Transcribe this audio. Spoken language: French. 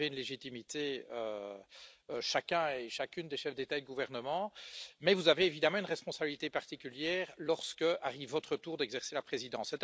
Vous avez une légitimité, comme chacun et chacune des chefs d'État et de gouvernement, mais vous avez évidemment une responsabilité particulière lorsqu'arrive votre tour d'exercer la présidence.